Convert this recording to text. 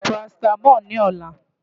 Màá lo parasítámọ̀ lọ́la.